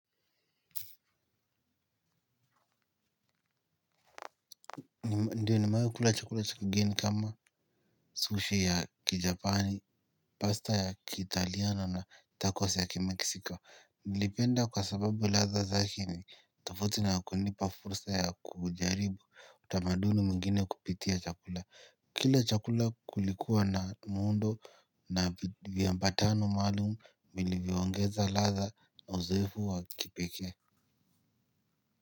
Ndiyo nimewahi kula chakula cha kigeni kama sushi ya kijapani, pasta ya kitaliano na tacos ya kimeksiko. Nilipenda kwa sababu ladha zake ni, tofauti na kunipa fursa ya kujaribu, utamaduni mwingine kupitia chakula. Kila chakula kulikuwa na muundo na viambatano maalum, vilivyoongeza ladha na uzoefu wa kipekee.